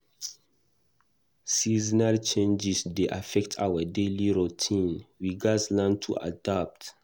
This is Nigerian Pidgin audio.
Seasonal changes dey affect our daily routine; we gatz learn to adapt.